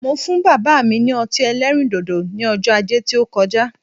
Mo fún bàbá mi ní ọtí ẹlẹ́rìn dòdò ní ọjọ́ ajé tí ó koja